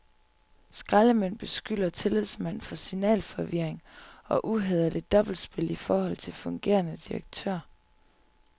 Skraldemænd beskylder tillidsmand for signalforvirring og uhæderligt dobbeltspil i forhold til fungerende direktør.